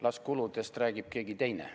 Las kuludest räägib keegi teine.